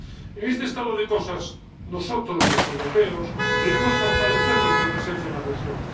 En este estado de cosas, nosotros, los europeos, debemos fortalecer nuestra presencia en la región.